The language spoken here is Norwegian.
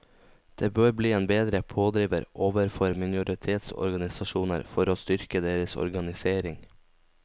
Det bør bli en bedre pådriver overfor minoritetsorganisasjoner for å styrke deres organisering.